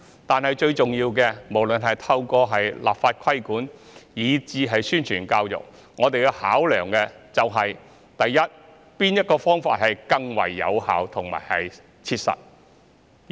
但最重要的是，無論是透過立法規管以至宣傳教育，我們要考量的是哪種方法更為有效和切實可行。